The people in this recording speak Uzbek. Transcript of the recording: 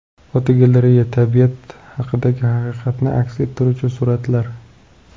Fotogalereya: Tabiat haqidagi haqiqatni aks ettiruvchi suratlar.